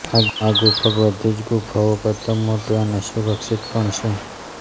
આ ગુફા બધી જ ગુફાઓ કરતાં મોટી અને સુરક્ષિત પણ છે